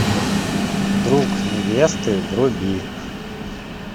друг невесты вруби